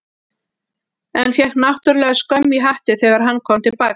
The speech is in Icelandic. En fékk náttúrlega skömm í hattinn þegar hann kom til baka.